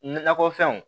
Nakɔ fɛnw